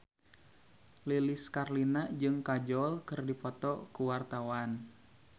Lilis Karlina jeung Kajol keur dipoto ku wartawan